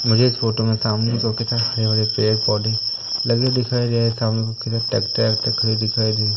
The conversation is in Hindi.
मुझे इस फोटो में सामने तो कैसा हरे भरे पेड़ पौधे लगे हुए दिखाई दे रहे है सामने को ट्रैक्टर वैक्टर खड़े हुए दिखाई दे रही--